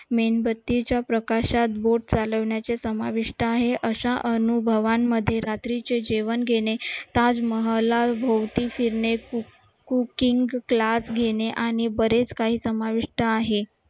मेणबत्तीच्या प्रकाशात boat चालवण्याचे समाविष्ट आहे अशा अनुभवांमध्ये रात्रीचे जेवण घेणे ताजमहाला भवती फिरणे खूप खूप king class घेणे आणि बरेच काही समाविष्ट आहेत